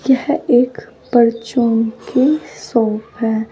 यह एक परचून की शॉप है।